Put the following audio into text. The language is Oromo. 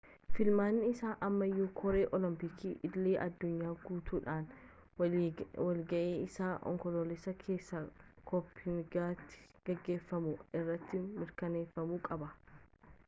filmaanni isaa ammayyuu koree oolompiikii idil-addunyaa guutudhaan walga'ii isaa onkoloolessa keessa kooppenhaagenitti geggeeffamu irratti mirkaneeffamuu qaba